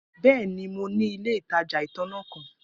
Bẹẹni, Mo ni ile itaja itanna kan.